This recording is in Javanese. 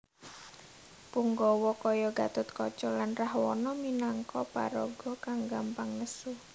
Punggawa kaya Gatotkaca lan Rahwana minangka paraga kang gampang nesu